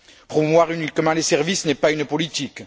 Promouvoir uniquement les services n'est pas une politique.